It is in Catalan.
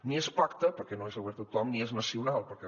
ni és pacte perquè no és obert a tothom ni és nacional perquè